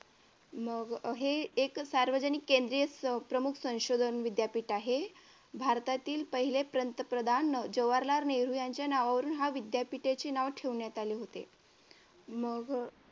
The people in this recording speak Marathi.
मग हे एक भारतीय सार्वजनिक संशोधन प्रमुख संशोधन विद्यापीठ आहे. भारतातील पहिले पंतप्रधान जवाहरलाल नेहरू यांच्या नावावरून ह्या विद्यापीठाचे नाव ठेवण्यात आले होते मग अह